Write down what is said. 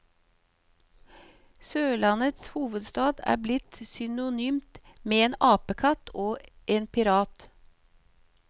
Sørlandets hovedstad er blitt synonymt med en apekatt og en pirat.